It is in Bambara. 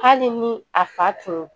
Hali ni a fa tunun